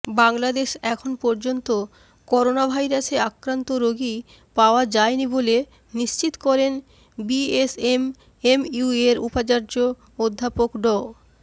বাংলাদেশ এখন পর্যন্ত করোনাভাইরাসে আক্রান্ত রোগী পাওয়া যায়নি বলে নিশ্চিত করেন বিএসএমএমইউয়ের উপাচার্য অধ্যাপক ড